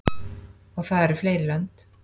Og það eru fleiri lönd.